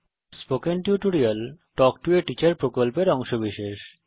spoken tutorial talk to a teacher প্রকল্পের অংশবিশেষ